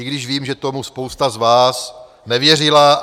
I když vím, že tomu spousta z vás nevěřila.